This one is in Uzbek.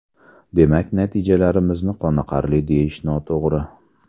Demak, natijamizni qoniqarli deyish noto‘g‘ri.